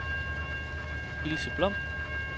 Ilse Blom